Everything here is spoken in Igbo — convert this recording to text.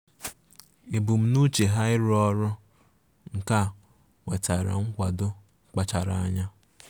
Ebumnuche ya ịrụ ọrụ nka nwetara nkwado kpachara anya.